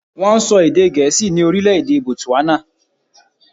Wọ́n ń sọ èdè gẹ̀ẹ́sì ní orílè-èdè botswana.